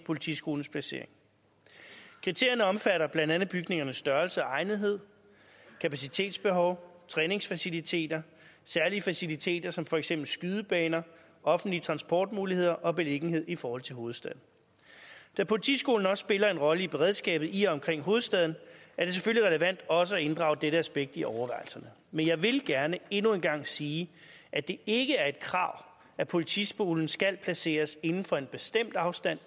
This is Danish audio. politiskolens placering kriterierne omfatter blandt andet bygningernes størrelse og egnethed kapacitetsbehov træningsfaciliteter særlige faciliteter som for eksempel skydebaner offentlige transportmuligheder og beliggenhed i forhold til hovedstaden da politiskolen også spiller en rolle i beredskabet i og omkring hovedstaden er det selvfølgelig relevant også at inddrage dette aspekt i overvejelserne men jeg vil gerne endnu en gang sige at det ikke er et krav at politiskolen skal placeres inden for en bestemt afstand